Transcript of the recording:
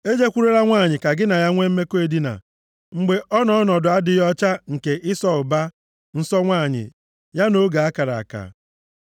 “ ‘E jekwurukwala nwanyị ka gị na ya nwe mmekọ edina, mgbe ọ nọ nʼọnọdụ adịghị ọcha nke (ịsọ ụba) nsọ nwanyị ya nʼoge a kara aka.